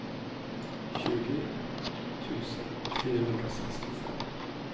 tjugo tusen fyrahundrasextiofem